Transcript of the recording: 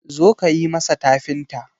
zo ka yi masa tafinta!